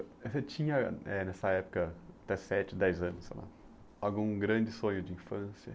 Você tinha, eh nessa época, até sete, dez anos, sei lá, algum grande sonho de infância?